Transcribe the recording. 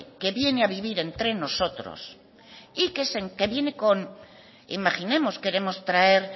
que viene a vivir entre nosotros y que viene con imaginemos queremos traer